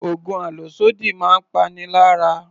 Oògùn àlòsódì máa ń pani lára